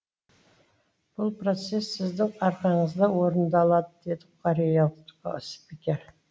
бұл процесс сіздің арқаңызда орындалады деді кореялық спикер